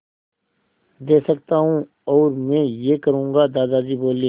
दे सकता हूँ और मैं यही करूँगा दादाजी बोले